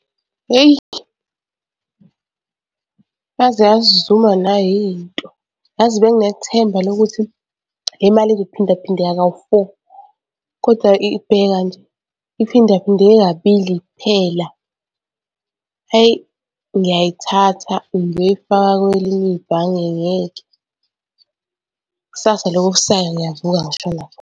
Hheyi, yaze yasizuma nayi into. Yazi benginethemba lokuthi le mali izophindaphindeka kawu-four, koda bheka nje iphindaphindeke kabili kuphela. Eyi ngiyayithatha ngiyoyifaka kwelinye ibhange ngeke. Kusasa lokhu okusayo ngiyavuka ngishona.